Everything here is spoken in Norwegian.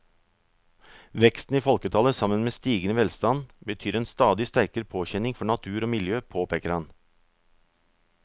Veksten i folketallet sammen med stigende velstand betyr en stadig sterkere påkjenning for natur og miljø, påpeker han.